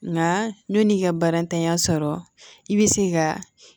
Nka yan'i ka baaratanya sɔrɔ i bɛ se ka